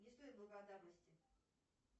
не стоит благодарности